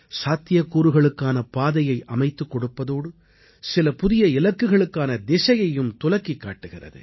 சாத்தியக்கூறுகளுக்கான பாதையை அமைத்துக் கொடுப்பதோடு சில புதிய இலக்குகளுக்கான திசையையும் துலக்கிக் காட்டுகிறது